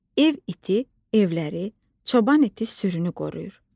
Ev iti evləri, çoban iti sürünü qoruyur.